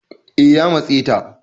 eh ya matse ta